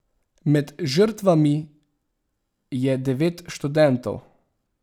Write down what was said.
Med žrtvami je devet študentov.